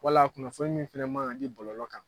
Wala kunnafoni min fana man ka di bɔlɔlɔ kan